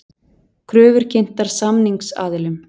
Kröfur kynntar samningsaðilum